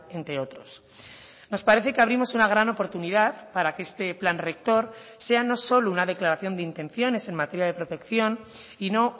entre otros nos parece que abrimos una gran oportunidad para que este plan rector sea no solo una declaración de intenciones en materia de protección y no